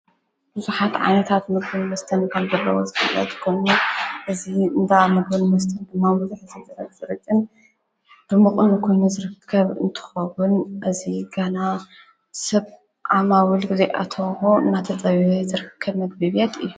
ብዙኃት ዓነታት ምግብን መስተን ከምዘለዉ ዝፍለጥ ኮይኑ እዚ እንዳ ምግበን መስተን ጐኑ እ ብማዉዘኅ እዘጽረፍ ዘርቅን ድምቁን ንኮኑ ዘርከብ እንትኸቡን እዙይ ገና ሰብ ዓማውል ጊዜኣታሆ እናተጠው ዝርከብ መግቢቤያት እዩ።